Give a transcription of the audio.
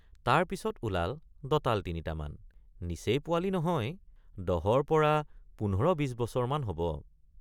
তাৰ পিচত ওলাল দঁতাল তিনিটামান নিচেই পোৱালি নহয় দহৰপৰা ১৫২০ বছৰমান হব।